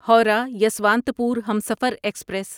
Howrah Yesvantpur Humsafar express